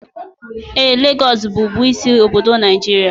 Ee, Lagos bụbu isi obodo Nigeria